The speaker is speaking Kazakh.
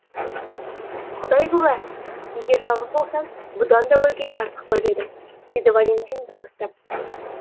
құдай куә егер жалғыз болсам бұдан да өлгенді артық көрер едім деді валентина дауыстап